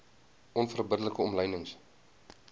onverbidde like omlynings